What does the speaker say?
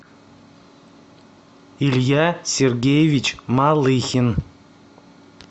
илья сергеевич малыхин